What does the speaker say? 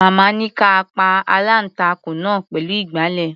Màmá ní ká a pa aláǹtakùn náà pẹ̀lú ìgbàlẹ̀.